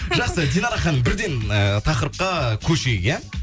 жақсы динара ханым бірден ы тақырыпқа көшейік иә